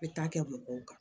N bɛ taa kɛ mɔgɔw kan